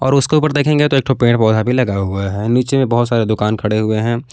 और उसके ऊपर देखेंगे तो एक ठो पेड़ पौधा भी लगा हुआ है नीचे बहुत सारे दुकान खड़े हुए है।